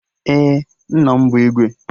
Ee, nna m bụ Igwe